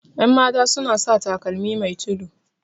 yanmata suna sa takalmi Mai tudu